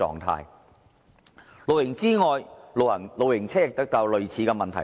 除露營之外，露營車也遇到類似問題。